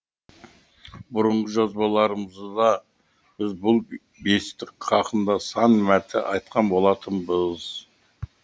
бұрынғы жазбаларымызда біз бұл бестік хақында сан мәрте айтқан болатынбыз